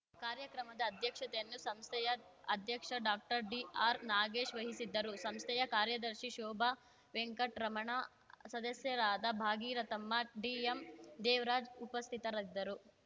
ಕಾರ್ಯಕ್ರಮದ ಅಧ್ಯಕ್ಷತೆಯನ್ನು ಸಂಸ್ಥೆಯ ಅಧ್ಯಕ್ಷ ಡಾಕ್ಟರ್ ಡಿಆರ್‌ ನಾಗೇಶ್‌ ವಹಿಸಿದ್ದರು ಸಂಸ್ಥೆಯ ಕಾರ್ಯದರ್ಶಿ ಶೋಭಾ ವೆಂಕಟ ರಮಣ ಸದಸ್ಯರಾದ ಭಾಗೀರಥಮ್ಮ ಡಿಎಂ ದೇವರಾಜ್‌ ಉಪಸ್ಥಿತರಿದ್ದರು